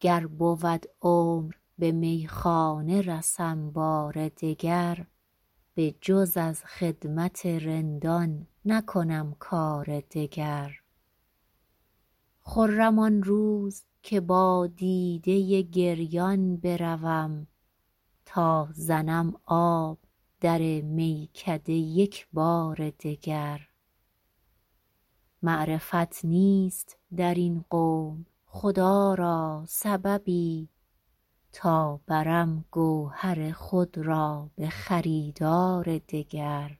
گر بود عمر به میخانه رسم بار دگر بجز از خدمت رندان نکنم کار دگر خرم آن روز که با دیده گریان بروم تا زنم آب در میکده یک بار دگر معرفت نیست در این قوم خدا را سببی تا برم گوهر خود را به خریدار دگر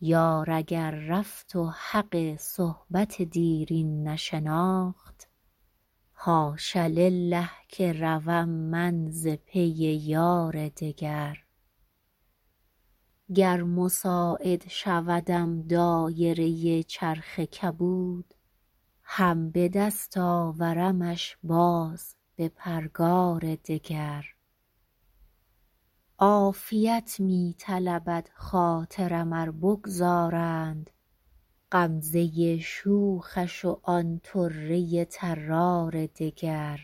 یار اگر رفت و حق صحبت دیرین نشناخت حاش لله که روم من ز پی یار دگر گر مساعد شودم دایره چرخ کبود هم به دست آورمش باز به پرگار دگر عافیت می طلبد خاطرم ار بگذارند غمزه شوخش و آن طره طرار دگر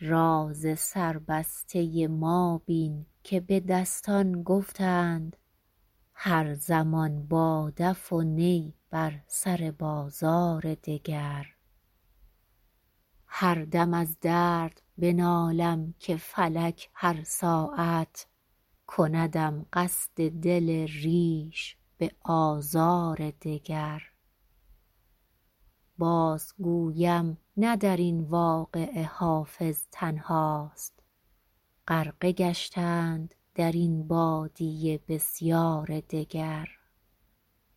راز سربسته ما بین که به دستان گفتند هر زمان با دف و نی بر سر بازار دگر هر دم از درد بنالم که فلک هر ساعت کندم قصد دل ریش به آزار دگر بازگویم نه در این واقعه حافظ تنهاست غرقه گشتند در این بادیه بسیار دگر